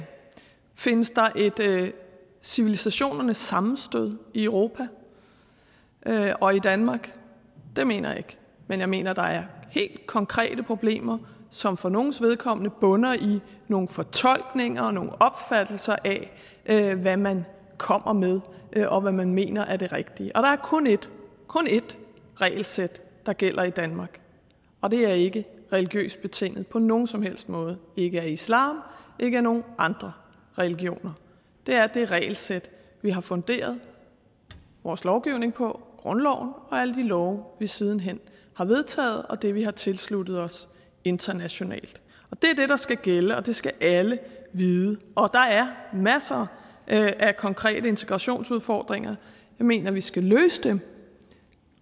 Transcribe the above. findes der et civilisationernes sammenstød i europa og i danmark det mener jeg ikke men jeg mener der er helt konkrete problemer som for nogles vedkommende bunder i nogle fortolkninger og nogle opfattelser af hvad man kommer med og hvad man mener er det rigtige og der er kun et kun ét regelsæt der gælder i danmark og det er ikke religiøst betinget på nogen som helst måde ikke af islam ikke af nogen andre regioner det er det regelsæt vi har funderet vores lovgivning på grundloven og alle de love vi siden hen har vedtaget og det vi har tilsluttet os internationalt det er det der skal gælde og det skal alle vide der er masser af konkrete integrationsudfordringer jeg mener vi skal løse dem